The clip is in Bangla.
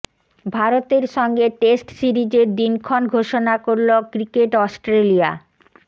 ভারতের সঙ্গে টেস্ট সিরিজের দিনক্ষণ ঘোষণা করল ক্রিকেট অস্ট্রেলিয়া